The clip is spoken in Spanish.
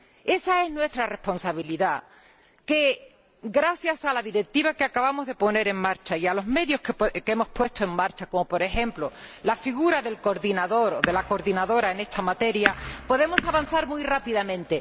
Esa es nuestra responsabilidad gracias a la Directiva que acabamos de poner en marcha y a los medios que hemos puesto en marcha —como, por ejemplo, la figura del coordinador o de la coordinadora en esta materia— podemos avanzar muy rápidamente.